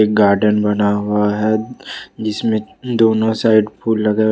garden बना हुआ है इसमें दोनों साइड फूल लगा--